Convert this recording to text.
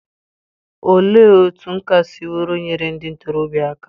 Olee otú nkà siworo nyere ndị ntorobịa aka?